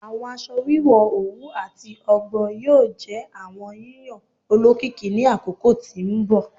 Awọn aṣọ wiwọ owu ati ọgbọ yoo jẹ awọn yiyan olokiki ni akoko ti n bọ